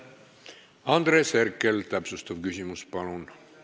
Andres Herkel, täpsustav küsimus, palun!